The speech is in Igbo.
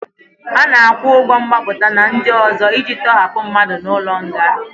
A na-akwụ ụgwọ mgbapụta na ndị ọzọ iji tọhapụ mmadụ n'ụlọ nga.